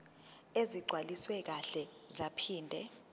ezigcwaliswe kahle zaphinde